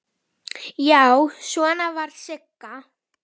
Já, svona var Sigga!